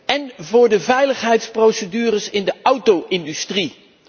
in en voor de veiligheidsprocedures in de auto industrie.